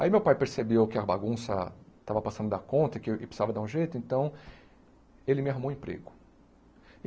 Aí meu pai percebeu que a bagunça estava passando da conta, e que eu precisava dar um jeito, então ele me arrumou um emprego.